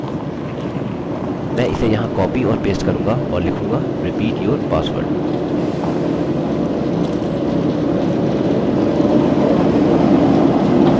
और अगला यहाँ नीचेमैं इसे यहाँ कॉपी और पेस्ट करूँगा और लिखूँगा repeat your password